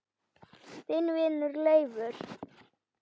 Þinn vinur Leifur.